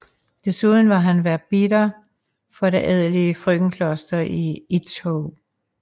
Desuden var han verbitter for det adelige frøkenkloster i Itzehoe